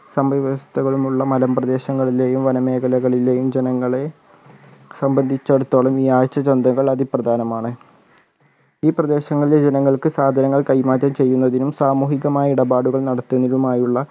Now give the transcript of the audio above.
സംഭവ വ്യവസ്ഥകളുമുള്ള മലം പ്രദേശങ്ങളിലെയും വനമേഖലകളിലെയും ജനങ്ങളെ സംബദ്ധിച്ചിടത്തോളം ഈ ആഴ്ച ചന്തകൾ അതിപ്രധാനമാണ് ഈ പ്രദേശങ്ങളിലെ ജനങ്ങൾക്ക് സാധനങ്ങൾ കൈമാറ്റം ചെയ്യുന്നതിനും സാമൂഹികമായ ഇടപാടുകൾ നടത്തുന്നതിനുമായുള്ള